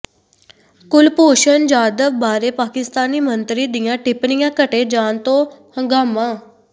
ਕੁਲਭੂਸ਼ਣ ਜਾਧਵ ਬਾਰੇ ਪਾਕਿਸਤਾਨੀ ਮੰਤਰੀ ਦੀਆਂ ਟਿੱਪਣੀਆਂ ਕੱਟੇ ਜਾਣ ਤੋਂ ਹੰਗਾਮਾ